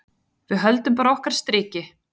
Við höldum bara okkar striki.